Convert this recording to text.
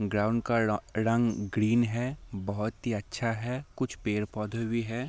Ground का र-रंग green है बहुत ही अच्छा है कुछ पेड़-पौधे भी है।